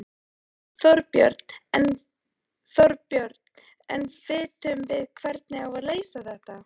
Þorbjörn: En vitum við hvernig á að leysa þetta?